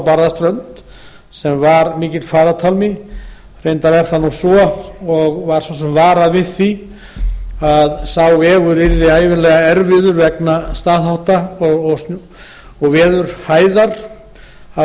barðaströnd sem var mikill farartálma reyndar er það nú svo og var svo sem varað við því að sá vegur yrði ævinlega erfiður vegna staðhátta og veðurhæðar